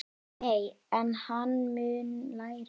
Nei, en hann mun læra.